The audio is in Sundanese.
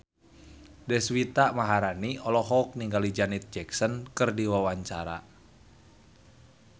Deswita Maharani olohok ningali Janet Jackson keur diwawancara